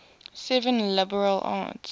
seven liberal arts